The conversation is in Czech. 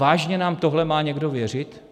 Vážně nám tohle má někdo věřit?